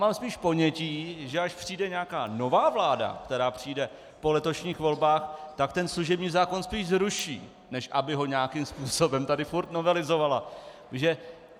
Mám spíš ponětí, že až přijde nějaká nová vláda, která přijde po letošních volbách, tak ten služební zákon spíš zruší, než aby ho nějakým způsobem tady furt novelizovala.